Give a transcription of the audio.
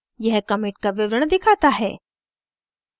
यह commit का विवरण दिखाता है